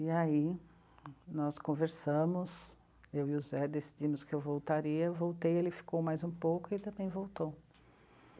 E aí, nós conversamos, eu e o Zé decidimos que eu voltaria, eu voltei, ele ficou mais um pouco e também voltou.